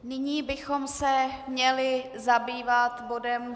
Nyní bychom se měli zabývat bodem